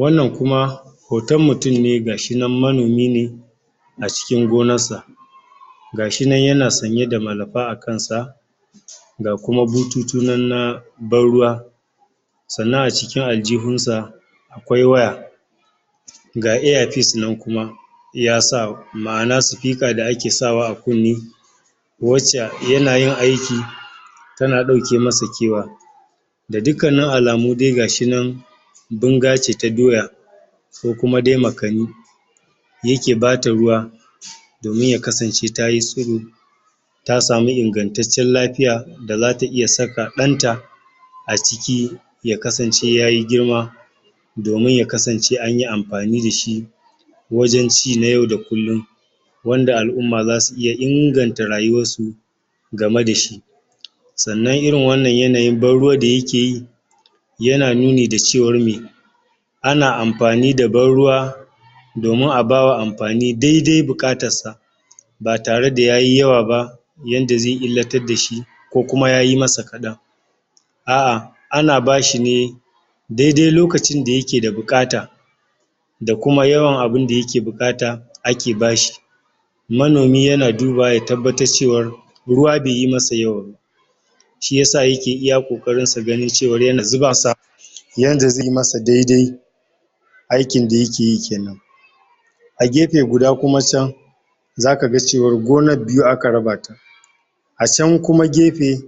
wannan kuma hoton mutum ne gashinan manomi ne a cikin gonar sa gashi nan yana sanye da malumfa a kansa ga kuma bututu nan na ban ruwa sannan a cikin ajihun sa akwai waya ga earpeice nan kuma ya sa ma'ana speaker da ake sa wa a kunni wace yana yin aiki tana dauke masa kewa da dukka nun alamu gashinan dai bunga ce ta doya ko kuma dai makami yake bata ruwa domin ya kasance tayi sulu ta samu ingantatacen lafiya da zata iya saka dan ta a ciki ya kasan ce yayi girma domin ya kasance anyi amfani dashi wajen ci na yau da kullum wanda alumma zasu iya inganta rayuwan su game dashi sannan irin wannan yanayin ban ruwa da yake yi yana nuni da cewar meh ana amfani da ban ruwa domin a bawa amfani dai dai bukatar sa ba tara da yayi yawa ba yanda zai illatar dashi ko kuma yayi masa kadan a'a ana bashi ne dai dai lokacin da yake da bukata da kuma yawan abun da yake bukata ake bashi manomi yana dubawa ya tabbatar cewar ruwa baiyi masa yawa ba shiyasa yake iya kokarin sa ganin cewa yana zuba sa yanda zai masa daidai aikin da yake yi kenan a gefe guda kuma can zaka ga cewa gonar biyu aka raba ta a can kuma gefe